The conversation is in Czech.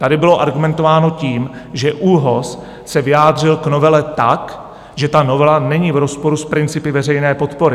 Tady bylo argumentováno tím, že ÚOHS se vyjádřil k novele tak, že ta novela není v rozporu s principy veřejné podpory.